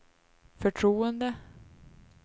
förtroende